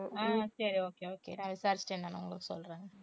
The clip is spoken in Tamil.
ஆஹ் சரி okay okay நான் விசாரிச்சுட்டு என்னன்னு உங்களுக்கு சொல்றேன்